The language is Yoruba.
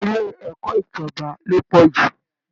Ilé ẹ̀kọ́ ìjọba ló pọ̀ jù